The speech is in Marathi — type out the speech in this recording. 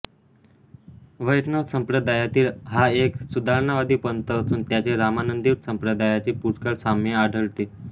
वैष्णव संप्रदायातील हा एक सुधारणावादी पंथ असून त्याचे रामानंदी संप्रदायाशी पुष्कळ साम्य आढळते